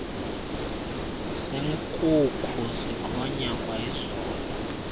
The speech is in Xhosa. senkukhu sikhonya kwayizolo